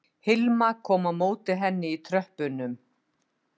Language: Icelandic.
Hilma kom á móti henni í tröppunum